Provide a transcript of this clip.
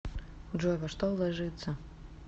джой во что вложиться